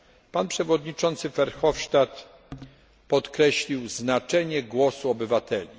Pan przewodniczący Verhofstadt podkreślił znaczenie głosu obywateli.